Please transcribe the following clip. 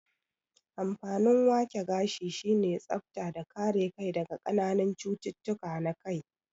Amfanin wake gashi sine tsafta da kare kai daga kananan cututtuka na kai